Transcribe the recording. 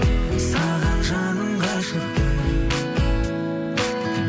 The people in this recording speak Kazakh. саған жаным ғашықпын